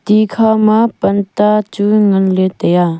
tikha ma panta chu nganley taiya.